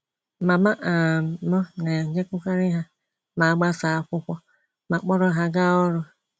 Mama um m na - ejekwukarị ha ma a gbasaa akwụkwọ ma kpọrọ ha gaa ọrụ.